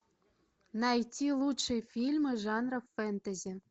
найти лучшие фильмы жанра фэнтези